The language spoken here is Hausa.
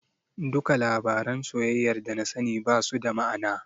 Duka labaran soyayyar dana sani basu da ma'ana.